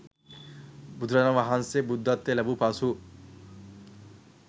බුදුරජාණන් වහන්සේ බුද්ධත්වය ලැබූ පසු